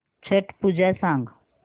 छट पूजा सांग